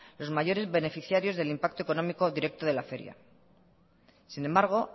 los mayores beneficiarios del impacto económico directo de la feria sin embargo